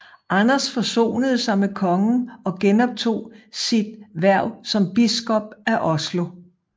Anders forsonede sig med kongen og genoptog sit hverv som biskop af Oslo